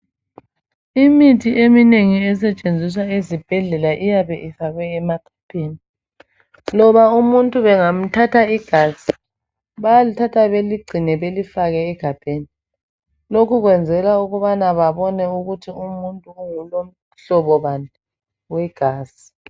Imithi eminengi esetshenziswa ezibhedlela iyabe ifakwe emaphepheni. Loba umuntu bangamthatha igazi bayalithatha baligcine balifaka egabheni lokhu kwenzela ukubana babone ukuthi umuntu ungumhlobo bani wegazi.